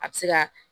A bɛ se ka